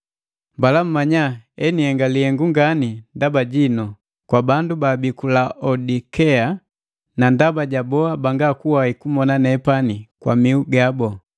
Mbala mmanya enhenga lihengu ngani ndaba jinu, kwa bandu baabii ku Laodikea na ndaba ja boha bangakuwai kumona nepani kwa mihu gabu.